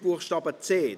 Buchstabe c.